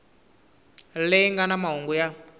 leyi nga na mahungu ya